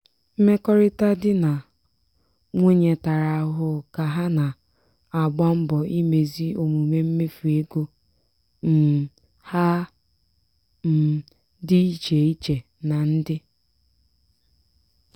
mmekọrịta di na nwunye tara ahụhụ ka ha na-agba mbọ imezi omume mmefu ego um ha um dị iche iche na ndị.